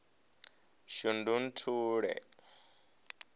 shundunthule